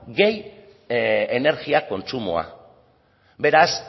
gehi energia kontsumoa beraz